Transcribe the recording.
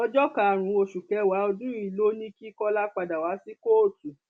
ọjọ karùnún oṣù kẹwàá ọdún yìí ló ní kí kọlá padà wá sí kóòtù